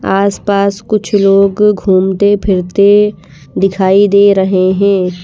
आस-पास कुछ लोग घूमते फिरते दिखाई दे रहे हैं।